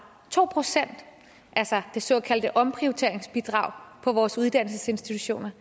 to procent altså det såkaldte omprioriteringsbidrag på vores uddannelsesinstitutioner